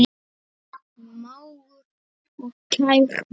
Mágur og kær vinur.